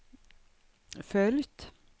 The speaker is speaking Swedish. följt